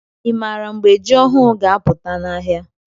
i maara mgbe jị ọhụụ ga- aputa n' ahịa?